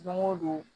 Don o don